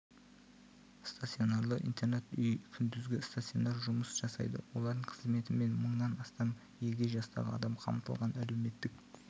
стационарлы интернат үй күндізгі стационар жұмыс жасайды олардың қызметімен мыңнан астам егде жастағы адам қамтылған әлеуметтік